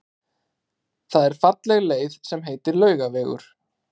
Það er falleg leið sem heitir Laugavegur.